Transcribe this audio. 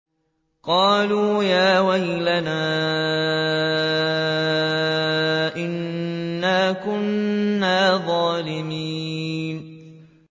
قَالُوا يَا وَيْلَنَا إِنَّا كُنَّا ظَالِمِينَ